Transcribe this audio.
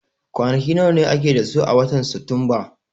Kwanaki nawa ake da su a watan Satumba?